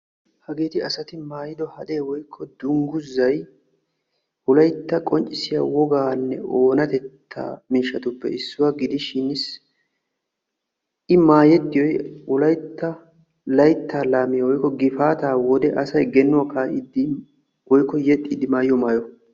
Hageetti asatti maayidod hadee woykko dungguzzay wolaytta qonccissiya gifaata wodee genuwa kaa'iddi maayiyo maayuwa.